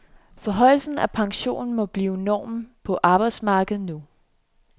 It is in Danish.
Forhøjelsen af pensionen må blive normen på arbejdsmarkedet nu.